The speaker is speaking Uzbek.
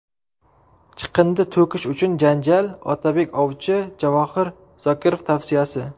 Chiqindi to‘kish uchun janjal, Otabek ovchi, Javohir Zokirov tavsiyasi.